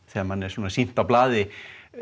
þegar manni er svona sýnt á blaði